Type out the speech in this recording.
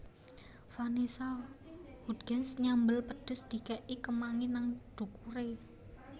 Vanessa Hudgens nyambel pedes dikek i kemangi nang dhukure